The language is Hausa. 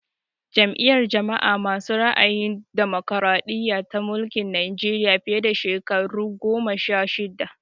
Jam'iyar jama'a masu ra'ayin damokaraɗiya ta mulki Najeriya fiye da shekaru goma sha shidda